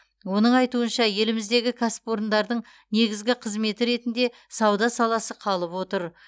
оның айтуынша еліміздегі кәсіпорындардың негізгі қызметі ретінде сауда саласы қалып отыр